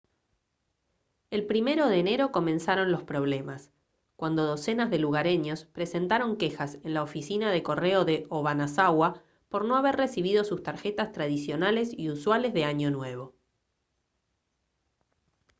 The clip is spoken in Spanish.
el 1 de enero comenzaron los problemas cuando docenas de lugareños presentaron quejas en la oficina de correo de obanazawa por no haber recibido sus tarjetas tradicionales y usuales de año nuevo